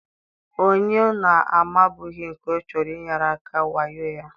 onye ọ na-amabughị nke ọ chọrọ inyere aka wayo ya.